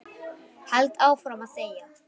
Held áfram að þegja.